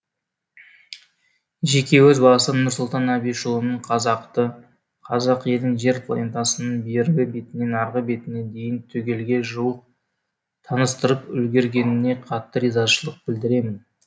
жеке өз басым нұрсұлтан әбішұлының қазақты қазақ елін жер планетасының бергі бетінен арғы бетіне дейін түгелге жуық таныстырып үлгергеніне қатты ризашылық білдіремін